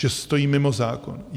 Že stojí mimo zákon?